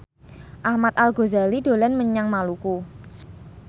Ahmad Al Ghazali dolan menyang Maluku